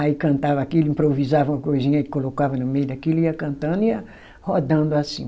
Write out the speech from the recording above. Aí cantava aquilo, improvisava uma coisinha e colocava no meio daquilo, ia cantando e ia rodando assim.